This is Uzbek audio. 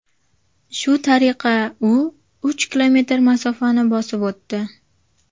Shu tariqa u uch kilometr masofani bosib o‘tdi.